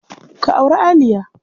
Ka auri Aliya.